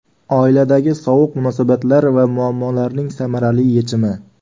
Oiladagi sovuq munosabatlar va muammolarning samarali yechimi!.